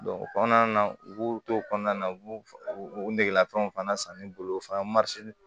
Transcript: o kɔnɔna na u b'u to kɔnɔna na u b'u negelafiniw fana san ne bolo o fana